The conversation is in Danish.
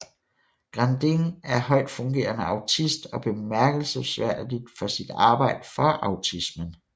Grandin er højtfungerende autist og bemærkelsesværdig for sit arbejde for autismen